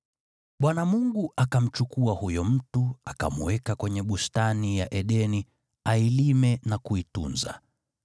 Bwana Mungu akamchukua huyo mtu, akamweka kwenye Bustani ya Edeni ailime na kuitunza.